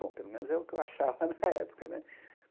Bom, pelo menos era o que eu achava na época né.